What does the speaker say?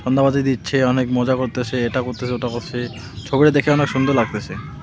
সন্ধ্যাবাতি দিচ্ছে অনেক মজা করতেছে এটা করতাসে ওটা করতাসে ছবিটি দেখে অনেক সুন্দর লাগতাছে .